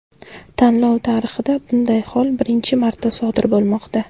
Tanlov tarixida bunday hol birinchi marta sodir bo‘lmoqda.